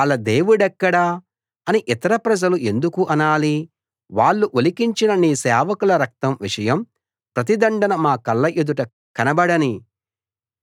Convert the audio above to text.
వాళ్ళ దేవుడెక్కడ అని ఇతర ప్రజలు ఎందుకు అనాలి వాళ్ళు ఒలికించిన నీ సేవకుల రక్తం విషయం ప్రతిదండన మా కళ్ళ ఎదుట కనబడనీ